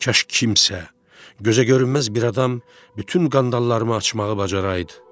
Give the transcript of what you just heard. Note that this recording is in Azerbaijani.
Kaş kimsə, gözə görünməz bir adam bütün qandallarımı açmağı bacaraydı.